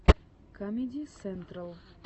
камеди сентрал